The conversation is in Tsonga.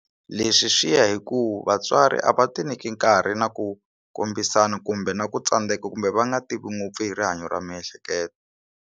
Leswi swi ya hi ku vatswari a va ti nyiki nkarhi na ku kombisana kumbe na ku tsandeka kumbe va nga tivi ngopfu hi rihanyo ra miehleketo.